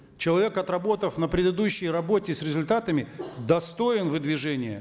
человек отработав на предыдущей работе с результатами достоин выдвижения